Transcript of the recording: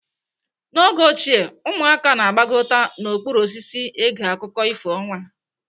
N'oge ochie ụmụaka na-agbakọta n'okpuru osisi ege akụkọ ifo ọnwa.